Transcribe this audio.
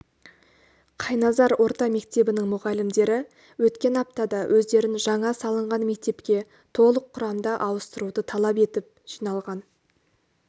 қайназар орта мектебінің мұғалімдері өткен аптада өздерін жаңа салынған мектепке толық құрамда ауыстыруды талап етіп жиналған